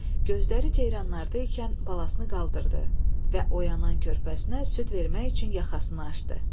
Gözləri ceyranlarda ikən balasını qaldırdı və oyanan körpəsinə süd vermək üçün yaxasını aşdı.